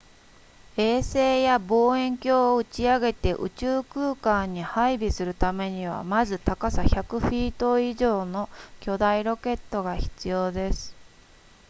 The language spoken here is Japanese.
衛星や望遠鏡を打ち上げて宇宙空間に配備するためにはまず高さ100フィート以上の巨大ロケットが必要です